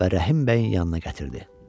Və Rəhim bəyin yanına gətirdi.